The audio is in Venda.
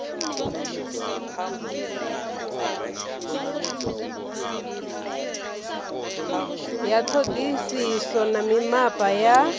ya ṱhoḓisiso na mimapa ya